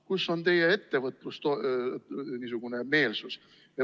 Kus on teie ettevõtlusmeelsus?